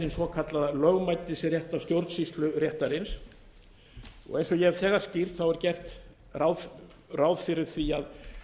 hin svokallaða lögmætisréttar stjórnsýsluréttarins eins og ég hef þegar skýrt er gert ráð fyrir því að